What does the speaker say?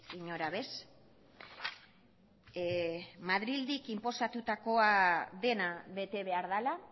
inora ere madriletik inposatutakoa dena bete behar dela